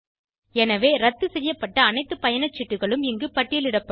எனவே இரத்து செய்யப்பட்ட அனைத்து பயணச்சீட்டுகளும் இங்கு பட்டியலிடப்படும்